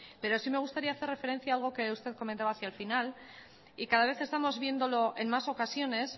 pero sí me gustaría hacer referencia a algo que usted comentaba hacia el final y cada vez estamos viéndolo en más ocasiones